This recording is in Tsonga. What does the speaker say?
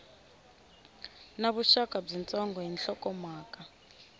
na vuxaka byitsongo ni nhlokomhaka